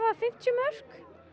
fimmtíu mörk